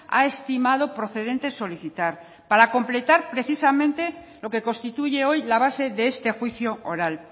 ha estimado procedente solicitar para completar precisamente lo que constituye hoy la base de este juicio oral